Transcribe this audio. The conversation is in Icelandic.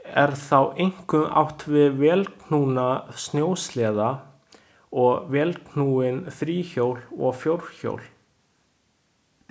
Er þá einkum átt við vélknúna snjósleða og vélknúin þríhjól og fjórhjól.